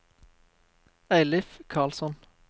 Eilif Karlsson